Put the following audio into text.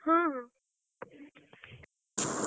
ହଁ ହଁ।